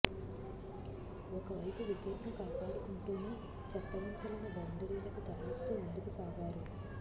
ఒకవైపు వికెట్ను కాపాడుకుంటూనే చెత్త బంతులను బౌండరీలకు తరలిస్తూ ముందుకు సాగారు